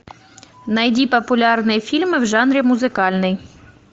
найди популярные фильмы в жанре музыкальный